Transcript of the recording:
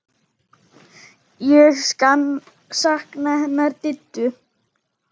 Ég sakna hennar Diddu.